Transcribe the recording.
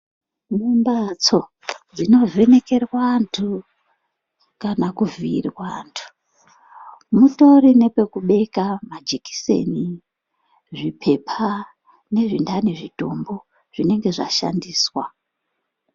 Mumbatso dzinovhenekerwe antu kana kuvhiirwa antu mutori nepekubeka majekiseni, zvipepa nezvintani zvitumbu zvinenge zvashandiswa.